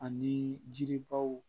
Ani jiri baw